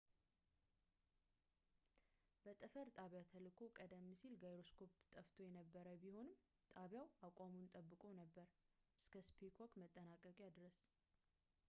በጠፈር ጣቢያ ተልእኮው ቀደም ሲል ጋይሮስኮፕ ጠፍቶ የነበረበት ቢሆንም ጣቢያው አቋሙን ጠብቆ ነበር እስከ ስፔስዋክ መጠናቀቂያ ድረስ